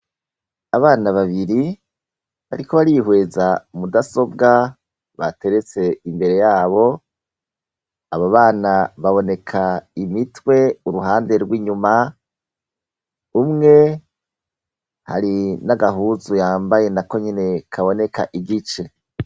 Abana babiri bariko barihweza mudasobwa bateretse imbere yabo, abo bana baboneka imitwe uruhande rw'inyuma, umwe hari n'agahuzu yambaye na konyene kaboneka igice.